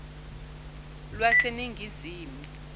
lwaseningizimu